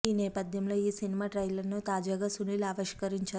ఈ నేపథ్యంలో ఈ సినిమా ట్రైలర్ ను తాజాగా సునీల్ ఆవిష్కరించారు